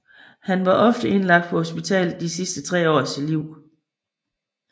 Han var ofte indlagt på hospitalet de sidste tre år af sit liv